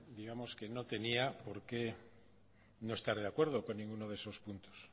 digamos que no tenía por qué no estar de acuerdo con ninguno de esos puntos